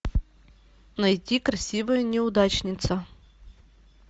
найти красивая неудачница